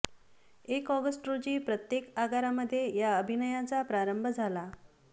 एक ऑगस्ट रोजी प्रत्येक आगारामध्ये या अभियानाचा प्रारंभ झाला